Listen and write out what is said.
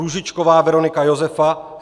Růžičková Veronika Josefa